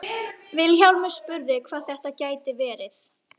Vilhjálmur spurði hvað þetta gæti verið.